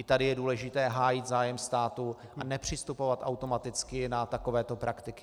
I tady je důležité hájit zájem státu a nepřistupovat automaticky na takovéto praktiky.